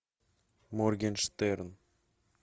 моргенштерн